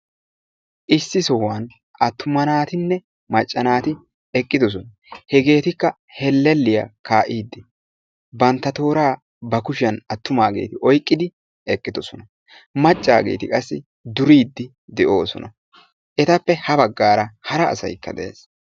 Issi sohuwan attuma naatinne macca naati hellelliya kaa'iidi bantta kushiyan tooraa oyqqidi eqqidosona. macaageeti qassi duriidi de'oosona. etappe ha bagaara hara asay eqiis.